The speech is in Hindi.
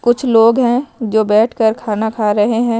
कुछ लोग हैं जो बैठकर खाना खा रहे हैं।